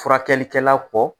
Furakɛlikɛla kɔ